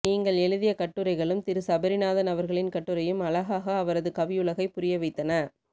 நீங்கள் எழுதிய கட்டுரைகளும் திரு சபரிநாதன் அவர்களின் கட்டுரையும் அழகாக அவரது கவியுலகை புரியவைத்தன